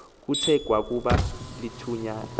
kuthe kwakuba lithutyana